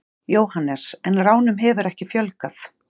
Jóhannes: En ránum hefur ekki fjölgað?